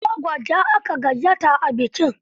Ado Gwanjo aka gayyato a bikin.